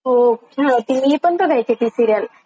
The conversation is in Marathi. हो छान होती मी पण बघायचे ती सिरिअल.